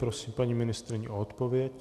Prosím paní ministryni o odpověď.